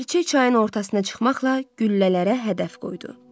Ləpirçi çayın ortasına çıxmaqla güllələrə hədəf qoydu.